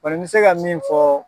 Bari n bɛ se ka min fɔ.